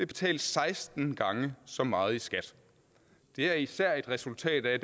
betale seksten gange så meget i skat det er især et resultat af